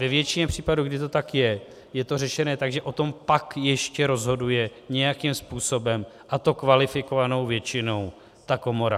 Ve většině případů, kdy to tak je, je to řešené tak, že o tom pak ještě rozhoduje nějakým způsobem, a to kvalifikovanou většinou, ta komora.